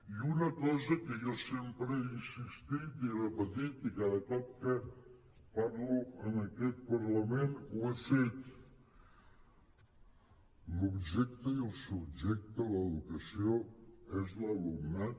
i una cosa en què jo sempre he insistit i he repetit i cada cop que parlo en aquest parlament ho he fet l’objecte i el subjecte de l’educació és l’alumnat